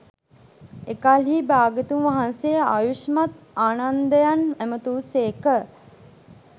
එකල්හී භාග්‍යවතුන් වහන්සේ ආයුෂ්මත් ආනන්දයන් ඇමතූ සේක